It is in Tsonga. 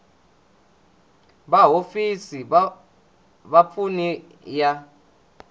va hofisi ya vapfuni ya